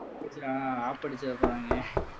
ஆப்படிச்சிட போறாங்க